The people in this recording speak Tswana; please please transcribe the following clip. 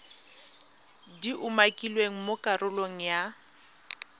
di umakilweng mo karolong ya